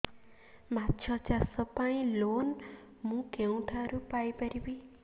ମାଛ ଚାଷ ପାଇଁ ଲୋନ୍ ମୁଁ କେଉଁଠାରୁ ପାଇପାରିବି